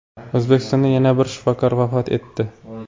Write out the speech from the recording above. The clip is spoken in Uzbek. O‘zbekistonda yana bir shifokor vafot etdi.